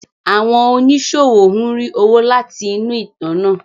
Àwọn oníṣòwò ń rí owó láti inú ìtàn náà.